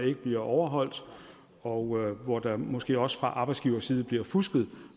ikke bliver overholdt og hvor der måske også fra arbejdsgiverside bliver fusket